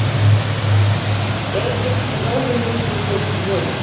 Egypskt ráðuneyti í ljósum logum